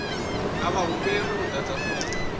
a vha humbelwi u ḓadza fomo